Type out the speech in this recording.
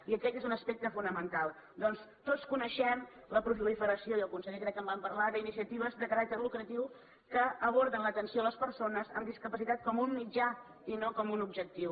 i aquest és un aspecte fonamental ja que tots coneixem la proliferació i el conseller crec que en va parlar d’iniciatives de caràcter lucratiu que aborden l’atenció a les persones amb discapacitat com un mitjà i no com un objectiu